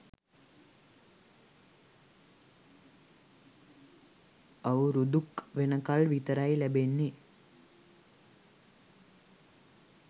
අවුරුදු ක් වෙනකල් විතරයි ලැබෙන්නෙ.